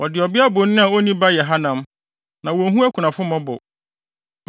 Wɔde ɔbea bonin a onni ba yɛ hanam, na wonhu akunafo mmɔbɔ.